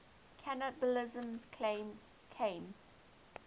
cannibalism claims came